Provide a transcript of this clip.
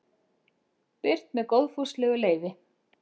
Birt með góðfúslegu leyfi.